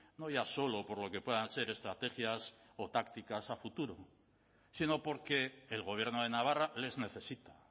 no ya solo por lo que puedan ser estrategias o tácticas a futuro sino porque el gobierno de navarra les necesita